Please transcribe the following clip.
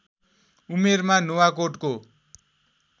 उमेरमा नुवाकोटको